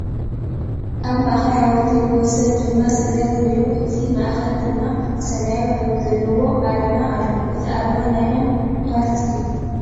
ኣብ ማእከል ሓወልቲ ብወሰን ድማ ስገም ኮይኑ እቲ ማእከል ድማ ሰመያዊ ሕብሪ ዘለዋ ኣርማ ኣሎ ። እቲ ኣርማ ናይ መን ፓርቲ እዩ ?